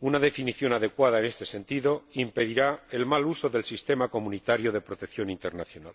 Una definición adecuada en este sentido impedirá el mal uso del sistema comunitario de protección internacional.